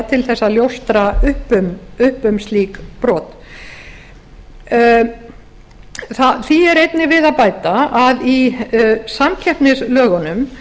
til þess að ljóstra upp um slík brot því er einnig við að bæta að í samkeppnislögunum